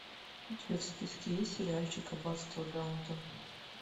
у тебя в списке есть сериальчик аббатство даунтон